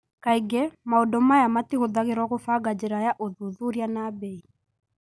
Kaingĩ, maũndũ maya matihũthagĩrwo gũbanga njĩra ya ũthuthuria na mbei.